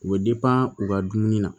U bɛ u ka dumuni na